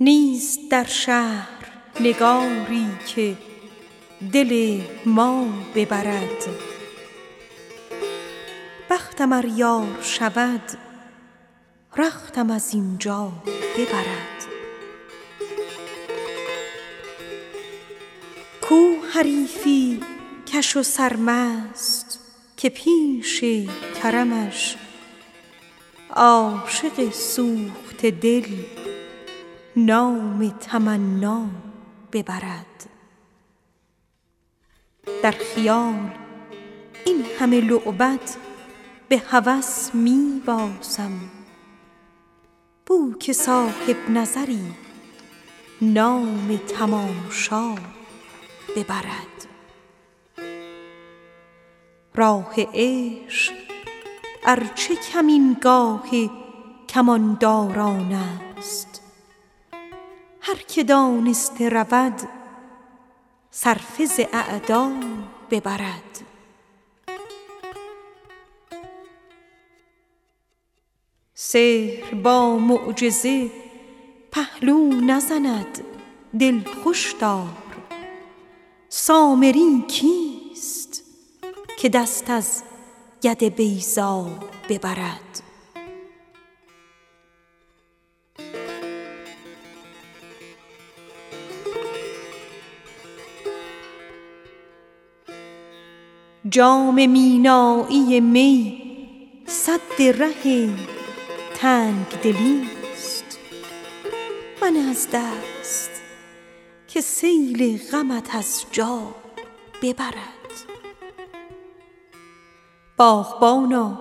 نیست در شهر نگاری که دل ما ببرد بختم ار یار شود رختم از این جا ببرد کو حریفی کش سرمست که پیش کرمش عاشق سوخته دل نام تمنا ببرد باغبانا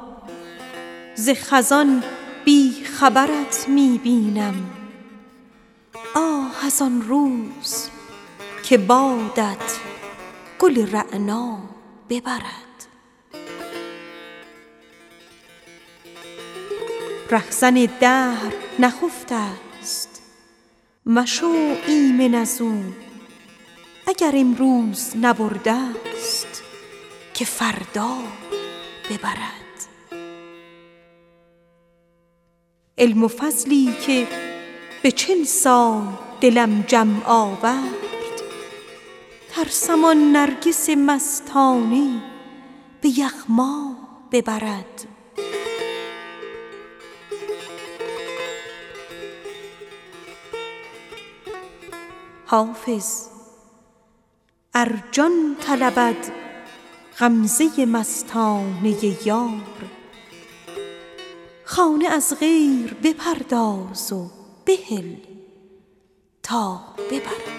ز خزان بی خبرت می بینم آه از آن روز که بادت گل رعنا ببرد رهزن دهر نخفته ست مشو ایمن از او اگر امروز نبرده ست که فردا ببرد در خیال این همه لعبت به هوس می بازم بو که صاحب نظری نام تماشا ببرد علم و فضلی که به چل سال دلم جمع آورد ترسم آن نرگس مستانه به یغما ببرد بانگ گاوی چه صدا باز دهد عشوه مخر سامری کیست که دست از ید بیضا ببرد جام مینایی می سد ره تنگ دلی ست منه از دست که سیل غمت از جا ببرد راه عشق ار چه کمینگاه کمانداران است هر که دانسته رود صرفه ز اعدا ببرد حافظ ار جان طلبد غمزه مستانه یار خانه از غیر بپرداز و بهل تا ببرد